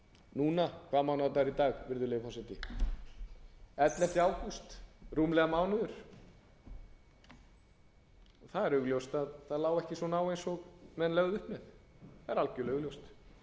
núna hvaða mánaðadagur er í dag virðulegur forseti ellefta ágúst rúmlega mánuður það er augljóst að það lá ekki svona á eins og menn lögðu upp með það er algerlega augljóst